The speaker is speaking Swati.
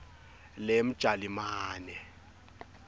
lemjalimane